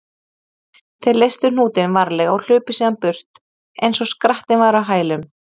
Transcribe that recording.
Þeir leystu hnútinn varlega og hlupu síðan burt eins og skrattinn væri á hælum þeirra.